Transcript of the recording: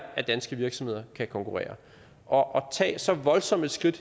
at danske virksomheder kan konkurrere og at tage så voldsomme skridt